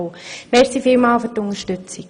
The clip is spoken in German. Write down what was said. Ich danke für die Unterstützung.